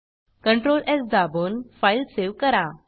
Ctrl S दाबून file save करा